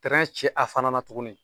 ci a fana na tuguni